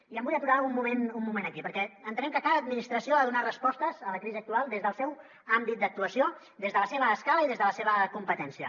i em vull aturar un moment aquí perquè entenem que cada administració ha de donar respostes a la crisi actual des del seu àmbit d’actuació des de la seva escala i des de la seva competència